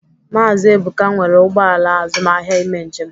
Maazị Ebụka nwere ụgbọ ala azụmaahịa ime njem